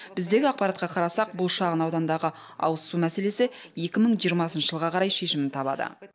біздегі ақпаратқа қарасақ бұл шағын аудандағы ауызсу мәселесі екі мың жиырмасыншы жылға қарай шешімін табады